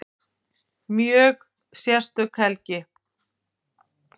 Mjög sérstök helgi